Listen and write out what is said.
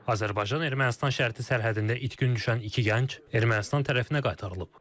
Azərbaycan-Ermənistan şərti sərhədində itkin düşən iki gənc Ermənistan tərəfinə qaytarılıb.